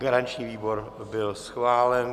Garanční výbor byl schválen.